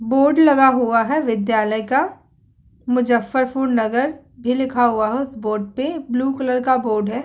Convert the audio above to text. Board लगा हुआ है विद्यालय का। मुज़्ज़फरपुर नगर भी लिखा हुआ है उस बोर्ड पे। ब्लू कलर का बोर्ड है।